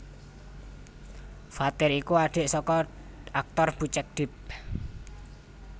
Fathir iku adhik saka aktor Bucek Depp